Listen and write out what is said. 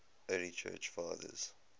early church fathers